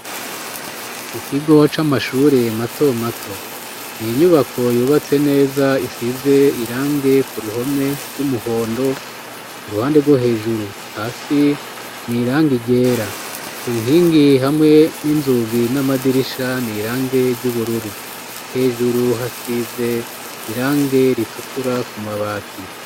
Mu kigo c'amashure mato mato ,ni inyubako yubatse neza isize irangi k'u ruhome ry'umuhondo ,ku ruhande rwo hejuru ,hasi ,ni irangi ryera ,ku nkingi hamwe n'inzugi, n'amadirisha ,ni irangi ry'ubururu ,hejuru hasize irangi ritukura ku mabati.